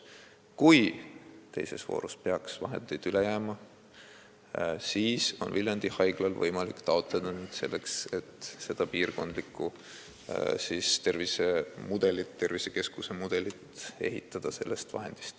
Kui teises voorus peaks vahendeid üle jääma, siis on Viljandi Haiglal võimalik taotleda lisaraha, et see tervisekeskus ka uue mudeli katsetamiseks välja ehitada.